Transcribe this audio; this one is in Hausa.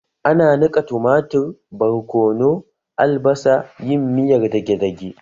Ana nika tumatir, barkono, albasa, yin miyar dage-dage